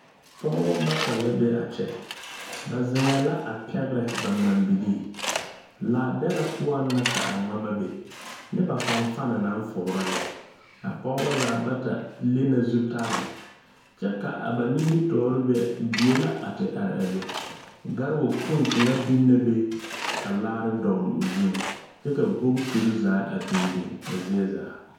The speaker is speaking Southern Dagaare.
Pɔgeba bata la be a kyɛ ba zeŋɛɛ la a pɛgrɛ ba ŋmambilii labɛrɛ poɔŋ la ka a ŋmama be nyɛ ba fanfani naŋ fugra lɛ a pɔgeba zaa bata le na zutare kyɛ ka a ba nimitɔɔre be die la a te are a be karewakpoŋ kaŋa biŋ na be ka laare dogli o zuŋ kyɛ ka bootere zaa a biŋ biŋ a zie zaa.